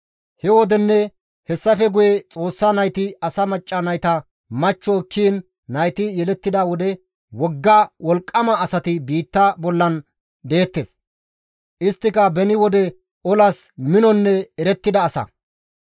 He wodenne hessafe guye Xoossa nayti asa macca nayta machcho ekkiin nayti yelettida wode wogga wolqqama asati biitta bollan deettes. Isttika beni wode olas minonne erettida asa.